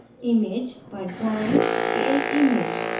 image पर जाएँ scale image